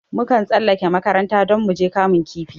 Mun kan tsallake makaranta don muje kamun kifi